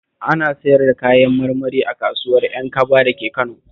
Ana siyar da kayan marmari s kasuwar Ƴankaba a Kano